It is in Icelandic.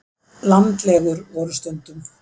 Landlegur voru stundum.